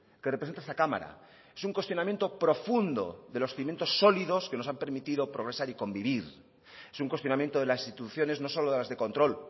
que representa esta cámara es un cuestionamiento profundo de los cimientos sólidos que nos han permitido progresar y convivir es un cuestionamiento de las instituciones no solo de las de control